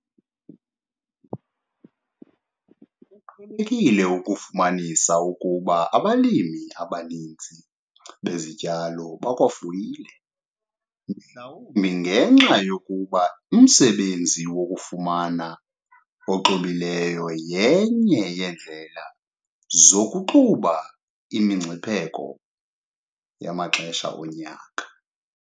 Kuqhelekile ukufumanisa ukuba abalimi abaninzi bezityalo bakwafuyile, mhlawumbi ngenxa yokuba umsebenzi wokufama oxubileyo yenye yeendlela zokuxuba imingcipheko yamaxesha onyaka.